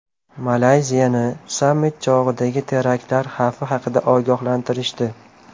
Malayziyani sammit chog‘idagi teraktlar xavfi haqida ogohlantirishdi.